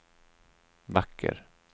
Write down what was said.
vacker